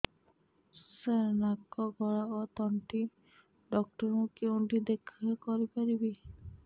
ସାର ନାକ ଗଳା ଓ ତଣ୍ଟି ଡକ୍ଟର ଙ୍କୁ କେଉଁଠି ଦେଖା କରିପାରିବା